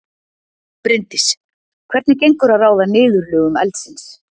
Bryndís: Hvernig gengur að ráða niðurlögum eldsins?